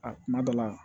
A kuma dɔ la